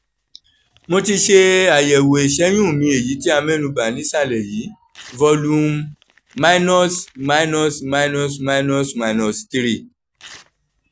mo ti ṣe ayẹwo ìṣẹ́yún mi èyí tí a mẹ́nu kàn nísàlẹ̀ yìí: volume minus minus minus minus minus three